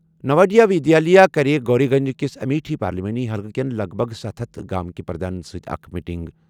نواڈیا ودیالیہ کَرِ گوری گنج کِس امیٹھی پارلیمانی حلقہٕ کٮ۪ن لَگ بَگ ستھَ ہتھَ گامٕک پردھانَن سۭتۍ اکھ میٹنگ۔